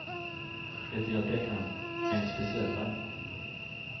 Det ger deckaren en speciell laddning.